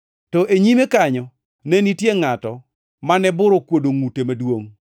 To e nyime kanyo ne nitie ngʼato mane bur okuodo ngʼute maduongʼ.